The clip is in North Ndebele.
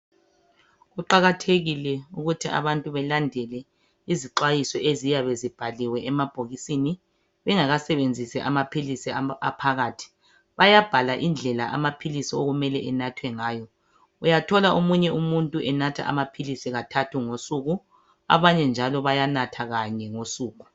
Kuqakathekile ukuze abantu belandele izixwayiso eziyabe zibhaliwe emabhokisini bengakasebenzisi amaphilisi aphakathi. Bayabhala indlela amaphilisi okumele enathwe ngayo. Uyathola omunye umuntu enathe amaphilisi kathathu ngosuku. Abanye njalo bayanatha kanye ngosuku.